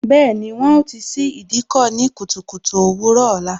Bẹẹni, wọn ó ti ṣí Ìdíkọ̀ ní kùtùkùtù òwúrò ọ̀la